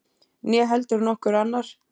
Né heldur nokkur annar.